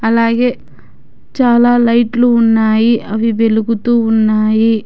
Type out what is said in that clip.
అలాగే చాలా లైట్లు ఉన్నాయి అవి వెలుగుతు ఉన్నాయి.